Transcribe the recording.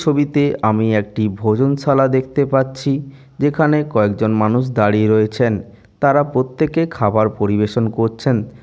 ছবিতে আমি একটি ভোজনশালা দেখতে পাচ্ছি। যেখানে কয়েকজন মানুষ দাঁড়িয়ে রয়েছেন। তারা প্রত্যেকে খাবার পরিবেশন করছেন।